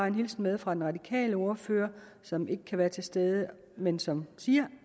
en hilsen med fra den radikale ordfører som ikke kan være til stede men som siger